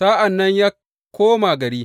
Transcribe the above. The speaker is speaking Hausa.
Sa’an nan ya koma gari.